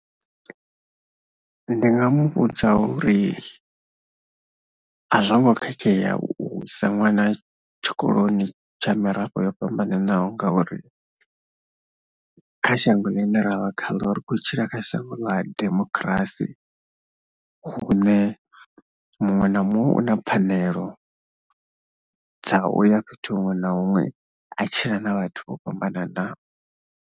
Ndi nga mu vhudza uri a zwo ngo khakhea u isa ṅwana tshikoloni tsha mirafho yo fhambananaho ngauri kha shango ḽine ra vha khaḽo ri khou tshila kha shango ḽa demokirasi hune muṅwe na muṅwe u na pfhanelo dza u ya fhethu huṅwe na huṅwe a tshila na vhathu vho fhambananaho.